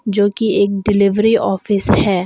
जो की एक डिलीवरी ऑफिस है।